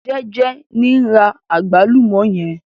Jeje ni n ra àgbálùmọ́ yẹn.